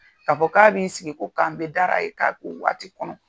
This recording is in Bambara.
Ka fɔ k'a bi sigi ko k'an bɛ dala ye k'a ko waati kɔnɔ